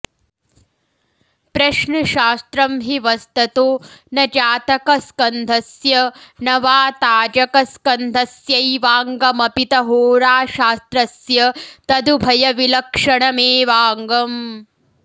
प्रश्नशास्त्रं हि वस्ततो न जातकस्कन्धस्य न वा ताजकस्कन्धस्यैवाङ्गमपित होराशास्त्रस्य तदुभयविलक्षणमेवाङ्गम्